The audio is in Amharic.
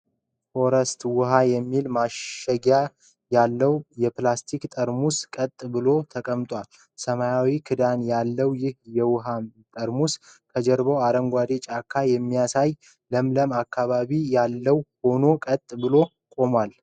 ፎረስት ዉሃ የሚል ማሸጊያ ያለው የፕላስቲክ ጠርሙስ ቀጥ ብሎ ተቀምጧል። ሰማያዊ ክዳን ያለው ይህ የዉሃ ጠርሙስ ከጀርባው አረንጓዴ ጫካን የሚያሳይ ለምለም አካባቢ ያለው ሆኖ ቀጥ ብሎ ቆሟል።